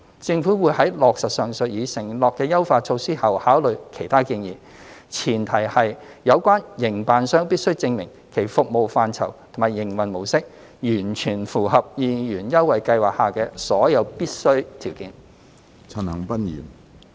政府會在落實上述已承諾的優化措施後考慮其他建議，前提是有關營辦商必須證明其服務範疇及營運模式完全符合二元優惠計劃下的所有必須的條件。